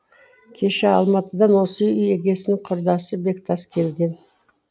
кеше алматыдан осы үй егесінің құрдасы бектас келген